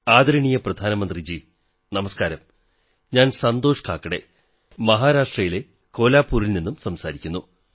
ആദരണീയ പ്രധാനമന്ത്രിജീ നമസ്കാരം ഞാൻ സന്തോഷ് കാകഡേ മഹാരാഷ്ട്രയിലെ കോൽഹാപുരിൽ നിന്നു സംസാരിക്കുന്നു